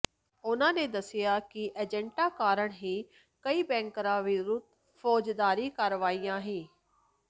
ਉਨ੍ਹਾਂ ਨੇ ਦੱਸਿਆ ਕਿ ਏਜੰਟਾਂ ਕਾਰਨ ਹੀ ਕਈ ਬਿਨੈਕਾਰਾਂ ਵਿਰੁੱਧ ਫੌਜਦਾਰੀ ਕਾਰਵਾਈਆਂ ਹੀ